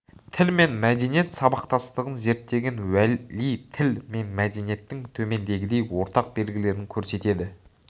тіл мен мәдениет сабақтастығын зерттеген уәли тіл мен мәдениеттің төмендегідей ортақ белгілерін көрсетеді